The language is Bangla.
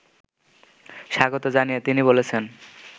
স্বাগত জানিয়ে তিনি বলেছেন